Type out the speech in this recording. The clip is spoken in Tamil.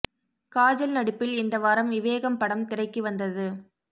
காஜல் நடிப்பில் இந்த வாரம் விவேகம் படம் திரைக்கு வந்தது